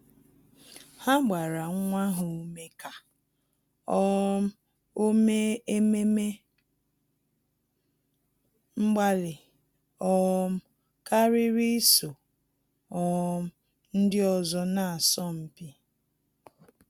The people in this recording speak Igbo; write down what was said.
Há gbàrà nwa ha ume kà um ọ́ mèé ememe mgbalị um kàrị́rị́ ísò um ndị ọzọ nà-ásọ́ mpi.